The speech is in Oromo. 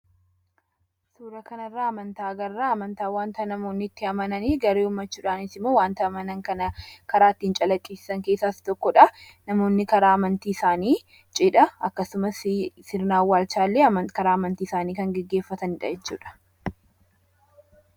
Suuraa kanarraa amantaa agarra. Amantaan wanta namoonni itti amananii garee uummachuudhaanisimmoo wanta amanan kana karaa ittiin calaqqisiisan keessaa isa tokkodha. Namooni cidha akkasumas sirna awwaalchaa illee karaa amantii isaanii kan gaggeeffatanidha jechuudha.